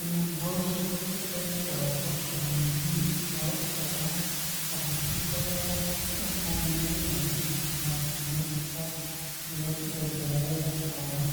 Inaan hawshan ka qayb qaato waa mid aad muhiim u ah, sababtoo ah waxay badbaadin